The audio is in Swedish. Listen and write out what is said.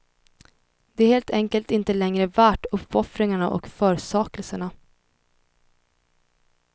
Det är helt enkelt inte längre värt uppoffringarna och försakelserna.